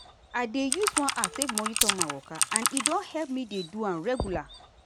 i dey use one app take monitor my waka and e don help me dey do am regular.